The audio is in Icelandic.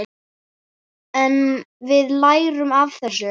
En við lærum af þessu.